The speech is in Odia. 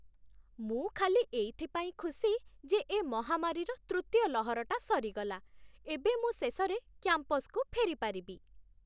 ମୁଁ ଖାଲି ଏଇଥିପାଇଁ ଖୁସି ଯେ ଏ ମହାମାରୀର ତୃତୀୟ ଲହରଟା ସରିଗଲା । ଏବେ ମୁଁ ଶେଷରେ କ୍ୟାମ୍ପସକୁ ଫେରିପାରିବି ।